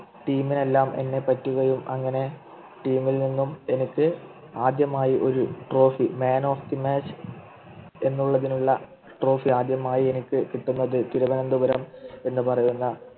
Team നു എല്ലാം എന്നെപ്പറ്റി അങ്ങനെ Team ൽ നിന്നും എനിക്ക് ആദ്യമായി ഒരു Trophy Man of the match എന്നുള്ളതിനുള്ള Trophy ആദ്യമായി എനിക്ക് കിട്ടുന്നത് തിരുവനന്തപുരം എന്ന് പറയുന്ന